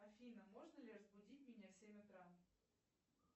афина можно ли разбудить меня в семь утра